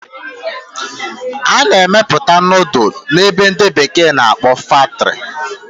A na-emepụta nudulu n'ebe ndi bekee na-akpọ factory